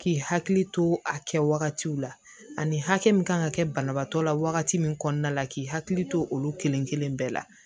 K'i hakili to a kɛ wagatiw la ani hakɛ min kan ka kɛ banabaatɔ la wagati min kɔnɔna la k'i hakili to olu kelen kelen bɛɛ la